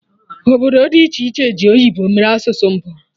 Obodo dị iche ji oyibo mere asụsụ mbụ ha